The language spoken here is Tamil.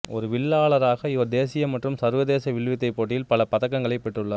ஒரு வில்லாளராக இவர் தேசிய மற்றும் சர்வதேச வில்வித்தை போட்டிகளில் பல பதக்கங்களைப் பெற்றுள்ளார்